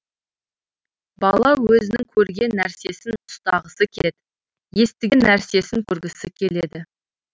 бала өзінің көрген нәрсесін ұстағысы келеді естіген нәрсесін көргісі келеді